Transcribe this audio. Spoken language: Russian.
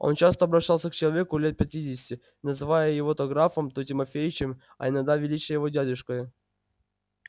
он часто обращался к человеку лет пятидесяти называя его то графом то тимофеичем а иногда величая его дядюшкою